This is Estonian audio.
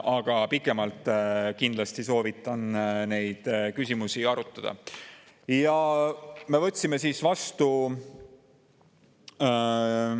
Aga kindlasti soovitan neid küsimusi pikemalt arutada.